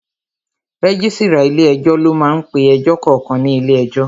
Rẹ́gísírà ilé ẹjọ́ ló máá ń pe ẹjọ́ kankan ní ilé ẹjọ́